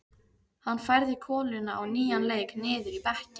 Hann færði koluna á nýjan leik niður í bekkinn.